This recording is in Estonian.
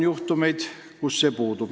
Vahel transport puudub.